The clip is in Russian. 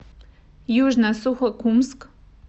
южно сухокумск